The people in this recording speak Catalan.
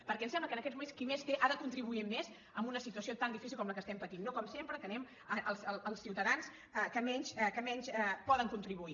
perquè em sembla que en aquests moments qui més té ha de contribuir més amb una situació tan difícil com la que estem patint no com sempre que anem als ciutadans que menys poden contribuir